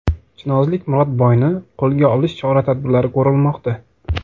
Chinozlik Murodboyni qo‘lga olish chora-tadbirlari ko‘rilmoqda.